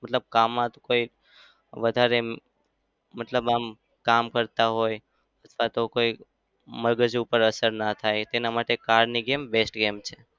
મતલબ કામમાં તો કોઈ વધારે મતલબ આમ કામ કરતા હોય અથવા તો મગજ ઉપર અસર ના થાય તેના માટે car ની game best છે.